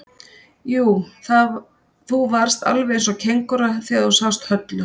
Jú, þú varðst alveg eins og kengúra þegar þú sást Höllu.